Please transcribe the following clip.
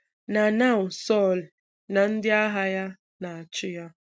Na now Sọ̀l na ndị agha ya na-achụ ya.